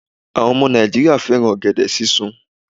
Àwọn ọmọ Nàìjíríà fẹ́ràn ọ̀gẹ̀dẹ̀ sísun